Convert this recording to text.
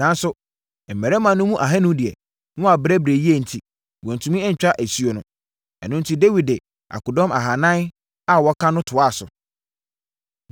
Nanso, mmarima no mu ahanu deɛ, na wɔabrɛbrɛ yie enti, wɔantumi antwa asuo no. Ɛno enti, Dawid de akodɔm ahanan a wɔaka no toaa so.